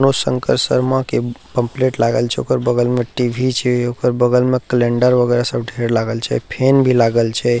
मनोज शंकर शर्मा के पम्पलेट लागल छै ओकर बगल म टी.वी. छे ओकर बगल में कैलेण्डर वैगरह सब ढेर लागल छै फैन भी लागल छै।